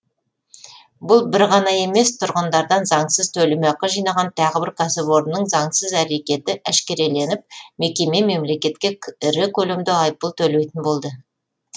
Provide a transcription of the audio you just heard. бір бұл ғана емес тұрғындардан заңсыз төлемақы жинаған тағы бір кәсіпорынның заңсыз әрекеті әшкереленіп мекеме мемлекетке ірі көлемде айыппұл төлейтін болды